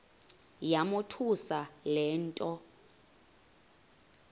yamothusa le nto